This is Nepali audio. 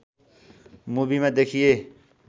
मुभिमा देखिए